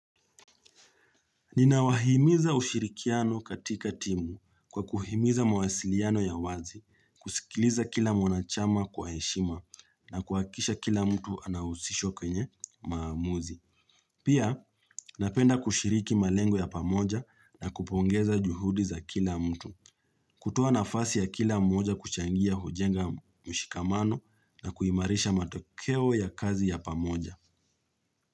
Ninawahimiza ushirikiano katika timu kwa kuhimiza mawasiliano ya wazi, kusikiliza kila mwanachama kwa heshima na kuakisha kila mtu anahusisho kwenye maamuzi. Pia napenda kushiriki malengo ya pamoja na kupongeza juhudi za kila mtu. Kutoa nafasi ya kila mmoja kuchangia hujenga mshikamano na kuhimarisha matokeo ya kazi ya pamoja.